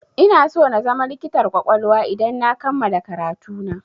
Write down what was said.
Inaso na zama likitar ƙwaƙwalwa idan na kammala karatu na.